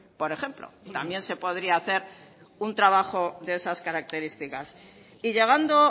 por ejemplo también se podría hacer un trabajo de esas características y llegando